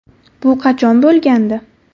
Bu qachon bo‘lgandi?